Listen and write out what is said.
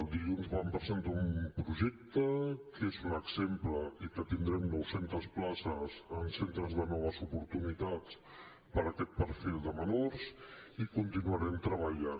dilluns vam presentar un projecte que és un exemple i que tindrem nou centes places en centres de noves oportunitats per a aquest perfil de menors i hi continuarem treballant